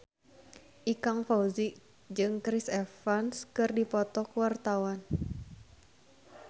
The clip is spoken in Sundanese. Ikang Fawzi jeung Chris Evans keur dipoto ku wartawan